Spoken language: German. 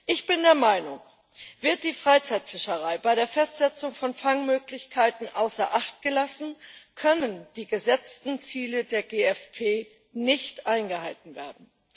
Ich bin der Meinung Wird die Freizeitfischerei bei der Festsetzung von Fangmöglichkeiten außer Acht gelassen, können die gesetzten Ziele der GFP nicht eingehalten werden.